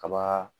Kaba